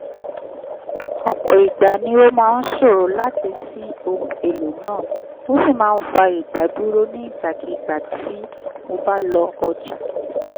ọ̀pọ̀ ìgbà ni ó máa ṣòro láti ṣí ohun èlò náà ó sì máa fa ìdádúró nígbàkigbà tí mo bá lọ ọjà.